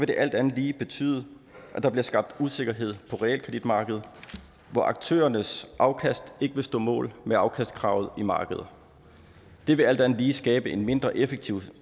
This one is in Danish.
det alt andet lige betyde at der bliver skabt usikkerhed på realkreditmarkedet hvor aktørernes afkast ikke vil stå mål med afkastkravet i markedet det vil alt andet lige skabe en mindre effektiv